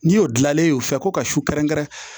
N'i y'o dilanlen ye o fɛ ko ka su kɛrɛnkɛrɛn